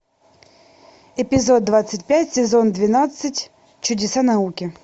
эпизод двадцать пять сезон двенадцать чудеса науки